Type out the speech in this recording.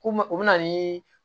Ko mɛ u bɛ na niii